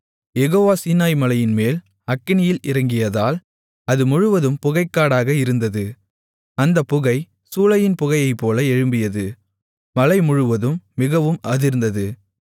யெகோவா சீனாய்மலையின்மேல் அக்கினியில் இறங்கியதால் அது முழுவதும் புகைக்காடாக இருந்தது அந்தப் புகை சூளையின் புகையைப்போல எழும்பியது மலை முழுவதும் மிகவும் அதிர்ந்தது